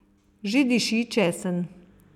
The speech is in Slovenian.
Že diši česen.